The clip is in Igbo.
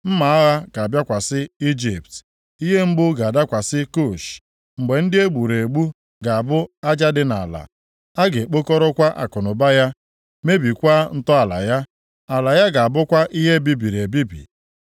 Mma agha ga-abịakwasị Ijipt, ihe mgbu ga-adakwasị Kush. Mgbe ndị e gburu egbu ga-abụ aja dị nʼala, a ga-ekpokọrọkwa akụnụba ya, mebikwaa ntọala ya. Ala ya ga-abụkwa ihe e bibiri ebibi.